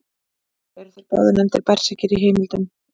Eru þeir báðir nefndir berserkir í heimildum.